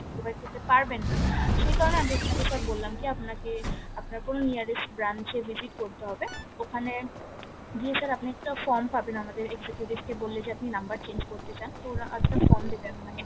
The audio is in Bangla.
provide করতে পারবেন না সেই কারনে আমি বললাম কি আপনাকে আপনার কোনো nearest branch এ visit করতে হবে ওখানে গিয়ে sir আপনি একটা from পাবেন আমাদের executive কে বললে যে আপনি number change করতে চান তো ওরা একটা from দেবে আপনাকে